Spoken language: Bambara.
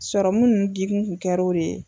Sɔrɔmu nunnu dikun kun kɛr'o de ye.